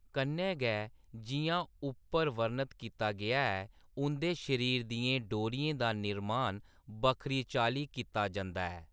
कन्नै गै, जिʼयां उप्पर वर्णत कीता गेआ ऐ, उंʼदे शरीर दियें डोरियें दा निरमान बक्खरी चाल्ली कीता जंदा ऐ।